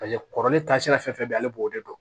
Paseke kɔrɔlen taasira fɛn fɛn bɛ yen ale b'o de dɔn